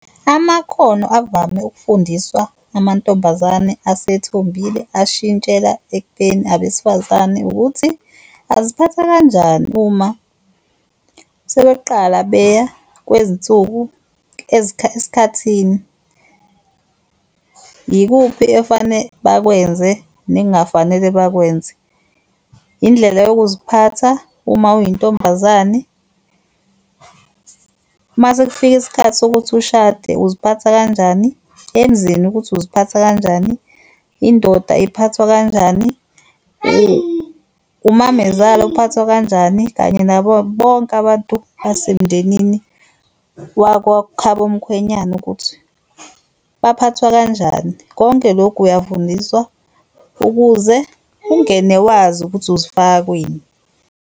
Amakhono avame ukufundiswa amantombazane asethombile ashintshela ekubeni abesifazane ukuthi aziphatha kanjani uma sebeqala beya kwezinsuku , esikhathini, yikuphi efane bakwenze nengafanele bakwenze, yindlela yokuziphatha uma uyintombazane, mase kufika isikhathi sokuthi ushade uziphatha kanjani, emzini ukuthi uziphatha kanjani, indoda iphathwa kanjani, umamezala uphathwa kanjani, kanye nabo bonke abantu basemndenini wakwakhabomkhwenyana ukuthi baphathwa kanjani. Konke lokhu uyafundiswa ukuze ungene wazi ukuthi uzifaka kwini.